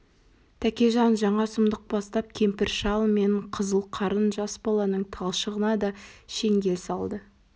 тәкежан жаңа сұмдық бастап кемпір-шал мен қызыл қарын жас баланың талшығына да шеңгел салды